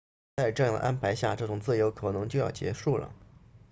在这样的安排下这种自由可能就要结束了